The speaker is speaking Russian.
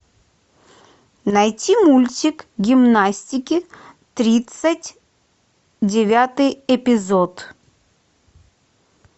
найти мультик гимнастики тридцать девятый эпизод